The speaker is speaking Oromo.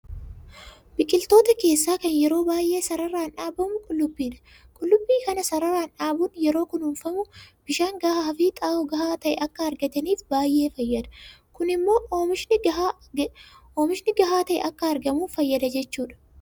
Biqiloota keessaa kan yeroo baay'ee sararaan dhaabamu Qullubbiidha. Qullubbii kana sararaan dhaabuun yeroo kunuunfamu bishaan gahaafi xaa'oo gahaa ta'e akka argataniif baay'ee fayyada. Kun immoo oomishni gahaa ta'e akka argamuuf fayyada jechuudha.